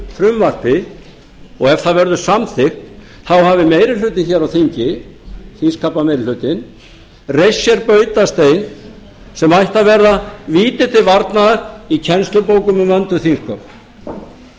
frumvarpi og ef það verður samþykkt þá hafi meiri hlutinn hér á þingi þingskapameirihlutinn reist sér bautastein sem ætti að bera víti til varnaðar í kennslubók um vönduð þingsköp meira